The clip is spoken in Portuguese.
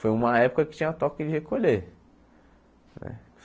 Foi uma época que tinha toque de recolher.